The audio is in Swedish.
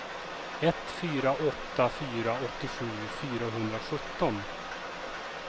ett fyra åtta fyra sjuttiosju fyrahundrasjutton